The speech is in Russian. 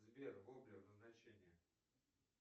сбер гоблин значение